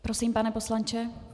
Prosím, pane poslanče.